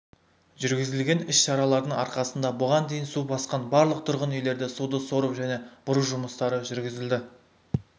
жүргізілген іс-шаралардың арқасында бұған дейін су басқан барлық тұрғын үйлерде суды сору және бұру жұмыстары жүргізілді